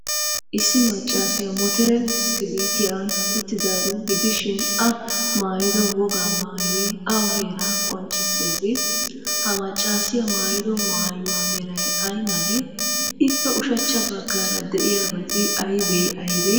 Issi maccaasiya motore bishkkiliitiyan uttadaaro gidishin,A maayido wogaa maayoy awa heeraa qonccissiyaagee? Ha maccaasiya maayido maayuwa meray ay malee? Ippe ushachcha baggaara de'iyabati aybee aybee?